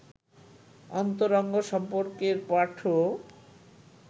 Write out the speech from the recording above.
অন্তরঙ্গ সম্পর্কের পাঠও